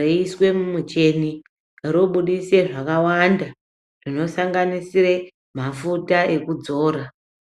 reiswe mucheni, robudise zvakawanda zvinosanganisire mafuta ekudzora.